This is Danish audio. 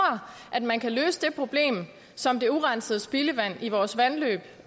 at man kan løse det problem som det urensede spildevand i vores vandløb